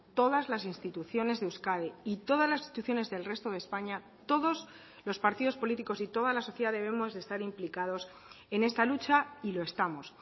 todas las instituciones de euskadi y todas las instituciones del resto de españa todos los partidos políticos y toda la sociedad debemos de estar implicados en esta lucha y lo estamos